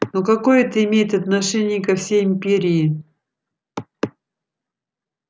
но какое это имеет отношение ко всей империи